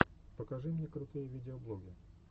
покажи мне крутые видеоблоги